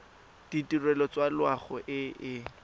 ditirelo tsa loago e e